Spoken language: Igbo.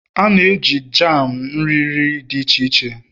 A na-eji jam na nri nri dị iche iche